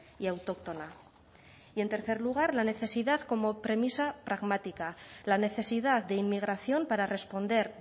y autóctona y en tercer lugar la necesidad como premisa pragmática la necesidad de inmigración para responder